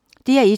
DR1